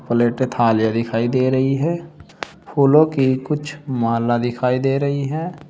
प्लेटें थालियां दिखाई दे रही है फूलों की कुछ माला दिखाई दे रही है।